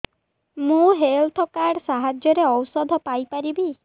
ମୁଁ health card ସାହାଯ୍ୟରେ ଔଷଧ ପାଇ ପାରିବି